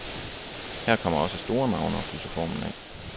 Her kommer også store navne og pudser formen af.